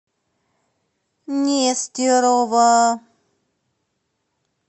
нестерова